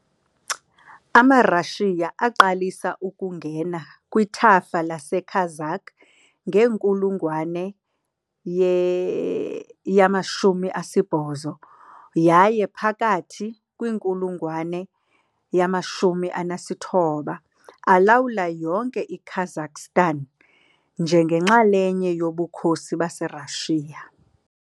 AmaRashiya aqalisa ukungena kwithafa leKazakh ngenkulungwane ye-18 yaye, phakathi kwinkulungwane ye-19, alawula yonke iKazakhstan njengenxalenye yoBukhosi baseRashiya .